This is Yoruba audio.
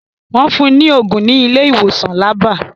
Wọ́n fun ní ògùn ní ilé ìwòsàn labba